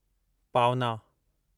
पावना